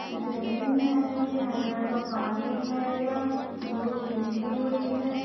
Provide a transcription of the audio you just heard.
जमीन हेंगे ये हरे रंग का पानी हेंगा धुप निकली हुई है।